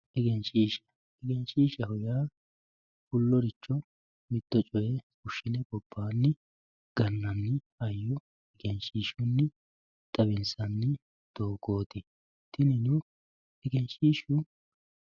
egenshiishsha egenshiishshaho yaa fulloricho mitto coyee fushshine gobbaanni gannanni hayyo egenshiishunni xawinsanni doogooti tinino egenshiishu